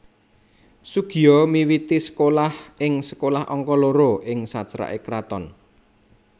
Soegija miwiti sekolah ing Sekolah Angka Loro ing saceraké Kraton